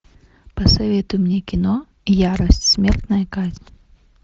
посоветуй мне кино ярость смертная казнь